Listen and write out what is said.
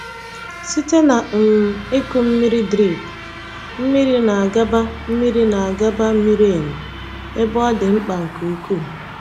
Site na um ịkụ mmiri drip, mmiri na-agaba mmiri na-agaba miri emi ebe ọ dị mkpa nke ukwuu.